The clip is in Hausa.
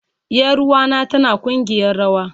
Yaruwa na tana kugiyar rawa